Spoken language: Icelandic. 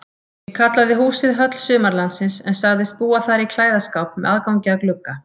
Ég kallaði húsið Höll Sumarlandsins en sagðist búa þar í klæðaskáp með aðgangi að glugga.